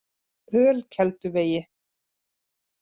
Ölkelduvegi